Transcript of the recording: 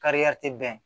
Kari tɛ bɛn